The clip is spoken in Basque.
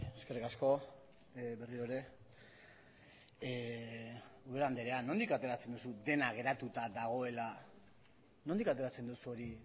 eskerrik asko berriro ere garrido andrea nondik ateratzen duzu dena geratuta dagoela nondik ateratzen duzu nori